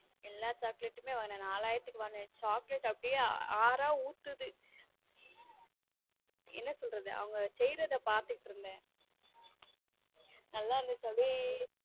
எல்லா chocolate வாங்கினேன் நாலாயிரத்துக்கு வாங்கினேன் chocolate அப்படியே ஆறா ஊத்துது என்ன சொல்றது அவங்க செய்யறத பார்த்துட்டு இருந்தேன நல்லா இருந்துச்சா அப்படியே.